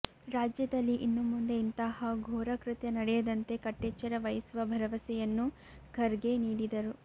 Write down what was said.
ರಾಜ್ಯದಲ್ಲಿ ಇನ್ನು ಮುಂದೆ ಇಂತಹ ಘೋರ ಕೃತ್ಯ ನಡೆಯದಂತೆ ಕಟ್ಟೆಚ್ಚರವಹಿಸುವ ಭರವಸೆಯನ್ನೂ ಖರ್ಗೆ ನೀಡಿದರು